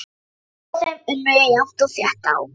Og þau unnu jafnt og þétt á.